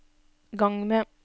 gang med